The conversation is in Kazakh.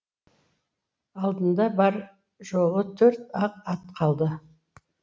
алдында бар жоғы төрт ақ ат қалды